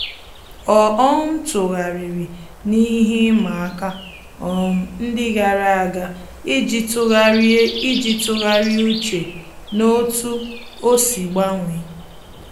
Ọ́ um tụ́ghàrị̀rị̀ n’íhé ịma aka um ndị gàrà ága iji tụ́gharị́a iji tụ́gharị́a úchè n’otú ọ́ sì gbanwee.